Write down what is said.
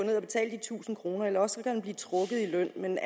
tusind kr eller også kan han blive trukket i løn men